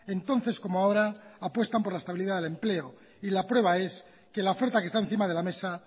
entonces como ahora apuestan por la estabilidad del empleo y la prueba es que la oferta que está encima de la mesa